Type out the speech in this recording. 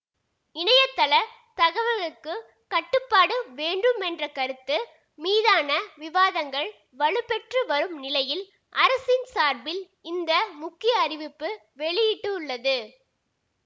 இணையதள தகவல்களுக்கு கட்டுப்பாடு வேண்டும் என்ற கருத்து மீதான விவாதங்கள் வலுப்பெற்று வரும் நிலையில் அரசின் சார்பில் இந்த முக்கிய அறிவிப்பு வெளியிட்டுள்ளது